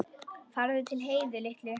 Farðu til Heiðu litlu.